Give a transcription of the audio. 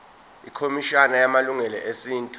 ikhomishana yamalungelo esintu